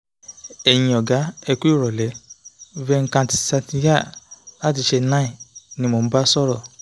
"ẹ̀yin ọ̀gá ẹ kú ìrọ̀lẹ́ venkat satya láti chennai ni mo ń bá sọ̀rọ̀